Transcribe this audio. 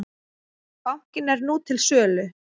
Bankinn er nú til sölu.